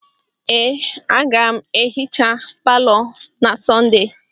Ee, aga m ehicha palọ na Sọnde.